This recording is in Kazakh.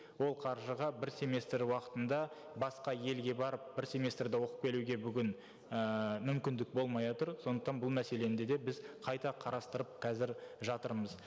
ол қаржыға бір семестр уақытында басқа елге барып бір семестрді оқып келуге бүгін ііі мүмкіндік болмай отыр сондықтан бұл мәселені де де біз қайта қарастырып қазір жатырмыз